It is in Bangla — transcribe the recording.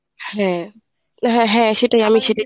হ্যাঁ হ্যাঁ হ্যাঁ সেটাই আমি সেটাই